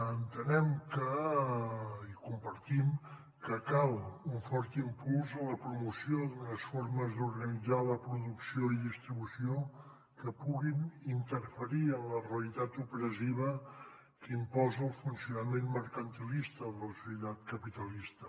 entenem i compartim que cal un fort impuls a la promoció d’unes formes d’organitzar la producció i distribució que puguin interferir en la realitat opressiva que imposa el funcionament mercantilista de la societat capitalista